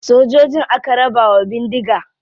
Sojojin aka raba wa bindiga.